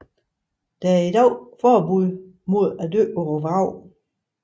Der er i dag forbud mod at dykke på vraget